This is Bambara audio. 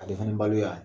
Ale fana balo y'a ye